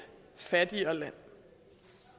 fattigere land